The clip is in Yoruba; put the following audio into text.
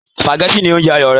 sùpàgẹ́tì ní oúnjẹ àyò rẹ̀